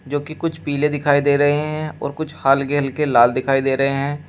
जो कि कुछ पीले दिखाई दे रहे हैं और कुछ हल्के हल्के लाल दिखाई दे रहे हैं।